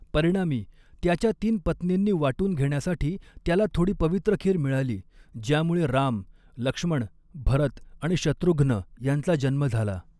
परिणामी, त्याच्या तीन पत्नींनी वाटून घेण्यासाठी त्याला थोडी पवित्र खीर मिळाली ज्यामुळे राम, लक्ष्मण, भरत आणि शत्रुघ्न यांचा जन्म झाला.